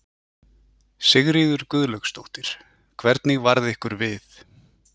Sigríður Guðlaugsdóttir: Hvernig varð ykkur við?